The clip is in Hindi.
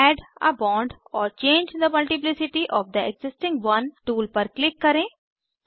add a bond or change the multiplicity of the existing one tool पर क्लिक करें